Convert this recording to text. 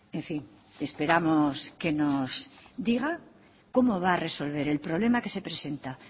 en fin esperamos que nos diga cómo va a resolver el problema que se presenta